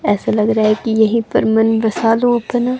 ऐसा लग रहा है कि यहीं पर मन बसा लो अपना।